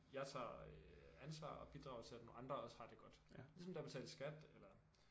Jeg tager øh ansvar og bidrager til at nogle andre også har det godt. Ligesom det er at betale skat eller